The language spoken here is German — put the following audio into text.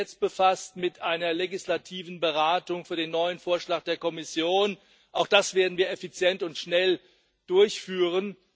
Wir sind jetzt befasst mit einer legislativen Beratung für den neuen Vorschlag der Kommission auch das werden wir effizient und schnell durchführen.